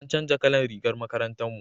an canja kalan rigar makarantar mu